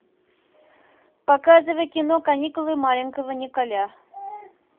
показывай кино каникулы маленького николя